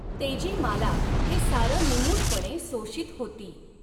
तेजीमाला हे सारं निमूटपणे सोशीत होती.